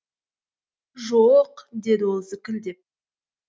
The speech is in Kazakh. жо оқ деді ол зікілдеп